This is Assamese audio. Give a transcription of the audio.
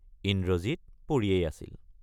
ইন্দ্ৰজিৎ পৰিয়েই আছিল।